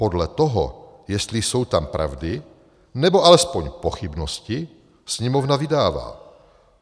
Podle toho, jestli jsou tam pravdy nebo alespoň pochybnosti, Sněmovna vydává.